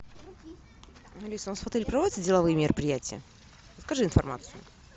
алиса у нас в отеле проводятся деловые мероприятия подскажи информацию